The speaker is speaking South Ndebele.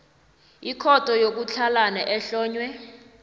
ikhotho yokutlhalana ehlonywe